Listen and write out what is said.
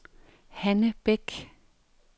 Hanne Bech